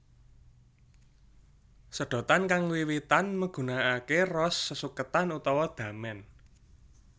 Sedhotan kang wiwitan megunanake ros sesuketan utawa damen